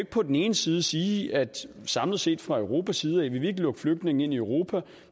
på den ene side sige at vi samlet set fra europas side ikke vil lukke flygtninge ind i europa